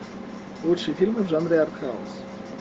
лучшие фильмы в жанре артхаус